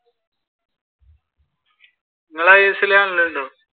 നിങ്ങൾ isl കാണലുണ്ടോ?